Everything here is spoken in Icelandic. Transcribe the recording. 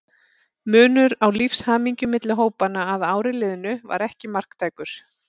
Munur á lífshamingju milli hópanna að ári liðnu var ekki marktækur.